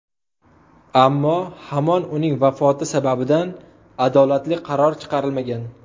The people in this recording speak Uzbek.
Ammo hamon uning vafoti sababidan adolatli qaror chiqarilmagan.